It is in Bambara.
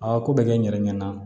A ko bɛ kɛ n yɛrɛ ɲɛna